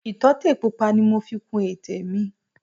Ìtọ́tè pupa ni mo fi kun ètè mi